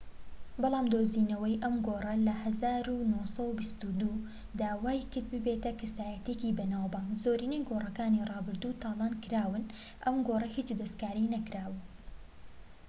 بەلام دۆزینەوەی ئەم گۆڕە لە ١٩٢٢ دا وای کرد ببیتە کەسایەتیەکی بەناوبانگ. زۆرینەی گۆڕەکانی ڕابردوو تالان کراون، ئەم گۆڕە هیچ دەستکاری نەکرابوو